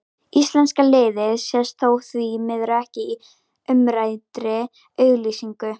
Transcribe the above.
Íslenska liðið sést þó því miður ekki í umræddri auglýsingu.